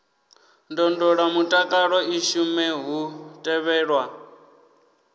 ndondolamutakalo i shume hu tevhelwa